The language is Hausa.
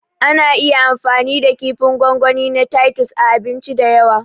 Ana iya amfani da kifin gwangwani na tatus a abinci da yawa